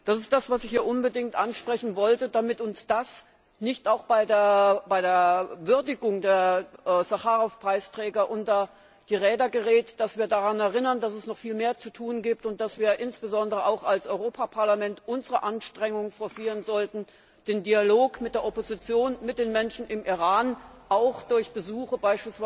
Das ist, was ich hier unbedingt ansprechen wollte, damit uns das nicht auch bei der Würdigung der Sacharow Preisträger unter die Räder gerät, damit wir uns daran erinnern, dass es noch viel mehr zu tun gibt und dass wir insbesondere auch als Europäisches Parlament unsere Anstrengungen forcieren sollten, den Dialog mit der Opposition, mit den Menschen im Iran, beispielsweise durch Besuche